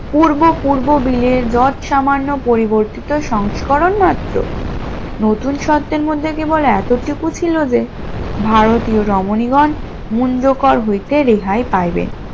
পূর্ব পূর্ব bill এর যত সামান্য পরিবর্তিত সংস্করণ মাত্র, নতুন শর্তের মধ্যে কেবল এতটুকু ছিল যে ভারতীয় রমণীগণ মুঞ্জকর হইতে রেহাই পাইবেন